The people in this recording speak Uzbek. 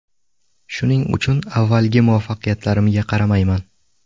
Shuning uchun avvalgi muvaffaqiyatlarimga qaramayman.